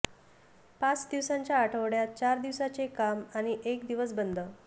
पाच दिवसांच्या आठवड्यात चार दिवसांचे काम आणि एक दिवस बंद